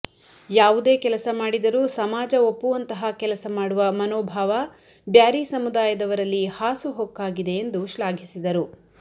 ಯಾವುದೇ ಕೆಲಸ ಮಾಡಿದರೂ ಸಮಾಜ ಒಪ್ಪುವಂತಹ ಕೆಲಸ ಮಾಡುವ ಮನೋಭಾವ ಬ್ಯಾರಿ ಸಮುದಾಯದವರಲ್ಲಿ ಹಾಸುಹೊಕ್ಕಾಗಿದೆ ಎಂದು ಶ್ಲಾಘಿಸಿದರು